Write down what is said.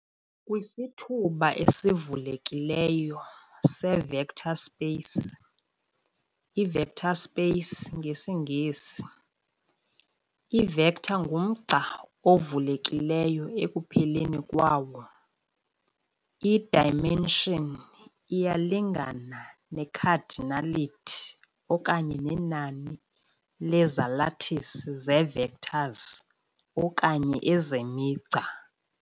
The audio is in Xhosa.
Kwisithuba esivulekileyo se-vector space, i-vector space ngesiNgesi. I-vector ngumgca ovulekilleyo ekupheleni kwawo, i-dimension iyalingana ne-cardinality okanye nenani lezalathini zee-vectors okanye ezemigca.